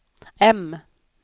M